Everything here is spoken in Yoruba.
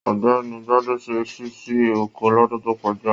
Ọ̀gbẹ́ni Gbade ṣe ṣíṣí oko lọ́dún tó kọjá.